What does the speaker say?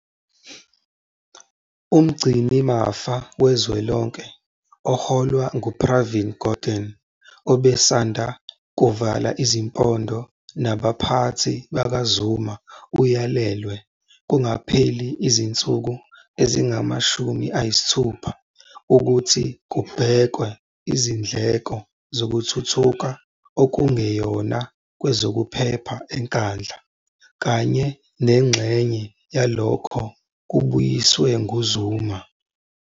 UMgcinimafa Kazwelonke - oholwa nguPravin Gordhan, obesanda kuvala izimpondo nabaphathi bakaZuma - uyalelwe, kungakapheli izinsuku ezingama-60, ukuthi kubhekwe izindleko zokuthuthuka okungeyona kwezokuphepha eNkandla, kanye nengxenye yalokho kubuyiswe nguZuma.